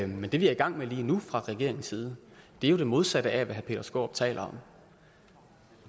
men det vi er i gang med lige nu fra regeringens side er jo det modsatte af hvad herre peter skaarup taler om